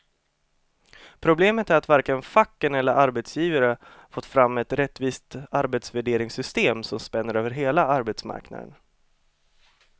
Problemet är att varken facken eller arbetsgivare fått fram ett rättvist arbetsvärderingssystem som spänner över hela arbetsmarknaden.